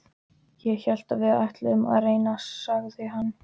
Ég hélt við ætluðum að reyna, sagði hann.